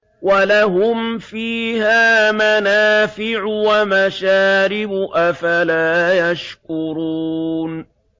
وَلَهُمْ فِيهَا مَنَافِعُ وَمَشَارِبُ ۖ أَفَلَا يَشْكُرُونَ